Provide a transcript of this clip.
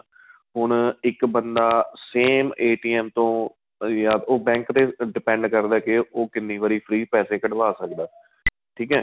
ਹੁਣ ਇੱਕ ਬੰਦਾ same ਜਦੋਂ ਤੋ ਜਾਂ bank ਤੇ depend ਕਰਦਾ ਏ ਉਹ ਕਿੰਨੀ ਵਾਰੀ free ਪੈਸੇ ਕੱਢਾਵ ਸਕਦਾ ਠੀਕ ਏ